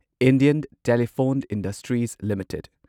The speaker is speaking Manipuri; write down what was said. Indian telephone industries limited